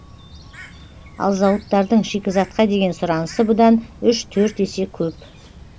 ал зауыттардың шикізатқа деген сұранысы бұдан үш төрт есе көп